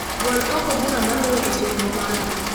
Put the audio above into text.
Gol oko bura maluwe e chenro mara